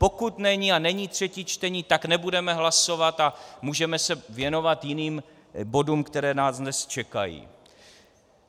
Pokud není a není třetí čtení, tak nebudeme hlasovat a můžeme se věnovat jiným bodům, které nás dnes čekají.